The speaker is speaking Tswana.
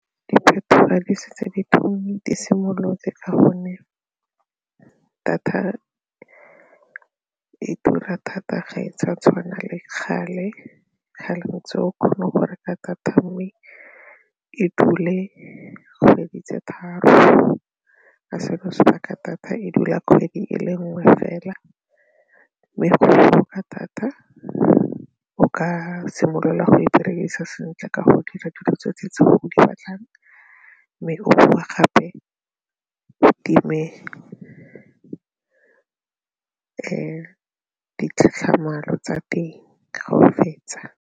Diphetogo tsa di setse di simolotse ka gonne data e tura thata ga e tswa tshwana le kgale kgale ntse o kgone go reka data ya me e dule dikgwedi tse tharo a seno sebaka thata e dula kgwedi e le nngwe fela mme go botoka thata o ka simolola go e berekisa sentle ka go dira dilo tse tsotlhe tse o di ratang mme o bowa gape o time ditlhatlhamano tsa teng ga o fetsa.